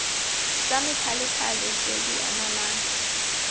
tsa methalethale tse di anamang